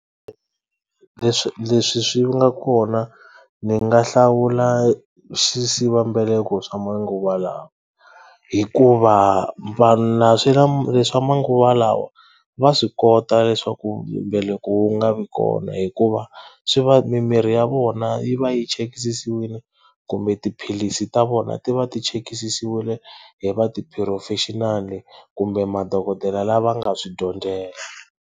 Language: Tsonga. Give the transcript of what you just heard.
Leswi leswi swi nga kona ni nga hlawula xisivambeleko swa manguva lawa hikuva swa manguva lawa va swi kota leswaku mbeleko wu nga vi kona hikuva swi va mimirhi ya vona yi va yi chekisisiwile kumbe tiphilisi ta vona ti va ti chekisisiwile hi va ti-professional kumbe madokodela lava nga swi dyondzela.